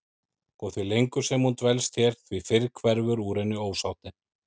Og því lengur sem hún dvelst hér því fyrr hverfur úr henni ósáttin.